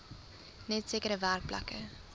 net sekere werkplekke